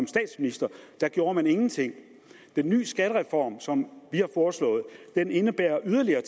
statsminister gjorde man ingenting den nye skattereform som vi har foreslået indebærer yderligere